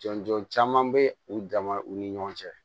Jɔn jɔn caman bɛ u dama u ni ɲɔgɔn cɛ